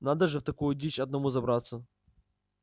надо же в такую дичь одному забраться